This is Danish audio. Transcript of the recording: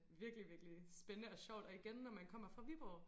Virkelig virkelig spændende og sjovt og igen når man kommer fra Viborg